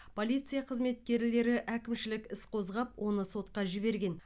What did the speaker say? полиция қызметкерлері әкімшілік іс қозғап оны сотқа жіберген